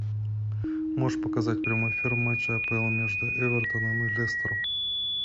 можешь показать прямой эфир матча апл между эвертоном и лестером